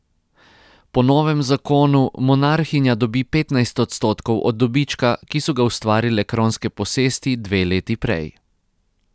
Po novem zakonu monarhinja dobi petnajst odstotkov od dobička, ki so ga ustvarile kronske posesti dve leti prej.